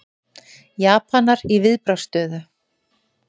Japanar í viðbragðsstöðu